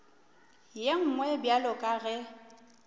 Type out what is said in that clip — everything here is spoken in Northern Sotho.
ye nngwe bjalo ka ge